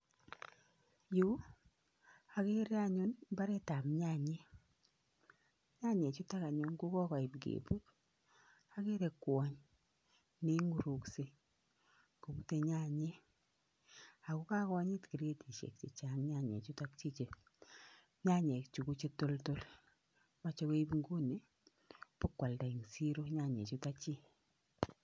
Yuu, okerer anyun mbaret ab nyanyek, nyanyetutok anyun kokokoit keput, okere kwony neinguruksei kopute nyanyek ako kagonyit kiretisiek chechang nea chichiton, nyanyechu kochetoltol, moche koip inguni ipakwalda en chiro nyanyetutok chik.